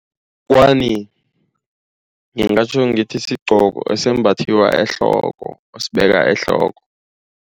Ingwami ngingatjho ngithi sigcoko esembathiwa ehloko, esibekwa ehloko.